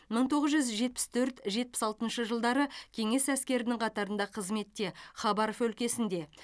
мың тоғыз жүз жетпіс төрт жетпіс алтыншы жылдары кеңес әскерінің қатарында қызметте хабаров өлкесінде